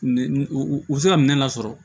U bɛ se ka minɛn lasɔrɔ